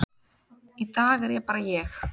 í dag er ég bara ég.